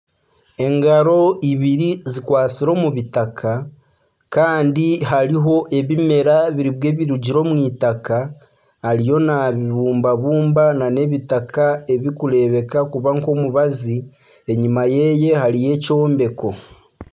Engaro ibiri zikwatsire omu bitaka Kandi hariho ebimera nibwe birugire omu itaka ariyo nabibumbabumba nana ebitaka ebirikureebeka kuba nkomubazi enyuma yeye hariyo ekyombeko .